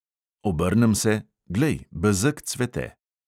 Obrnem se, glej, bezeg cvete.